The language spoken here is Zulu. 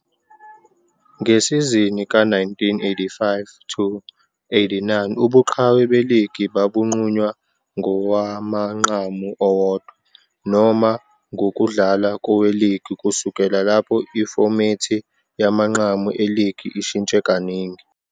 Ngesizini ka-1985-86, ubuqhawe beligi babunqunywa ngowamanqamu owodwa, noma ngokudlala koweligi. Kusukela lapho, ifomethi yamanqamu eligi ishintshe kaningi.